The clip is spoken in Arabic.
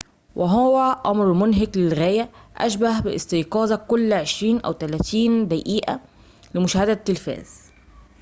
وهو أمر منهك للغاية أشبه باستيقاظك كل عشرين أو ثلاثين دقيقة لمشاهدة التلفاز